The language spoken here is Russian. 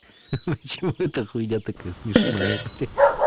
почему это хуйня такая смешная блять